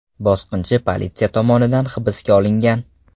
Bosqinchi politsiya tomonidan hibsga olingan.